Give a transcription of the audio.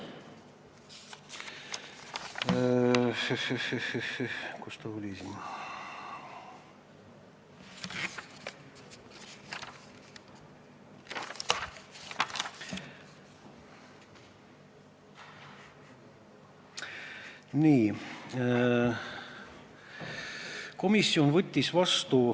Kus ta oli siin?